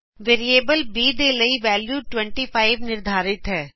variable b ਦੇ ਲਈ value 25 ਨਿਰਧਾਰਿਤ ਹੈ